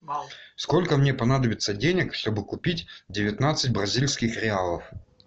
сколько мне понадобится денег чтобы купить девятнадцать бразильских реалов